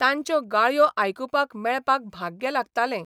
तांच्यो गाळयो आयकुपाक मेळपाक भाग्य लागतालेंं.